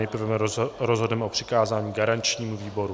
Nejprve rozhodneme o přikázání garančnímu výboru.